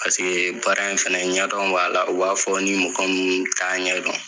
Paseke baara in fɛnɛ ɲɛdɔn b'a la, u b'a fɔ ni mɔgɔ mun t'a ɲɛdɔn